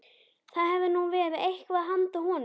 Það hefði nú verið eitthvað handa honum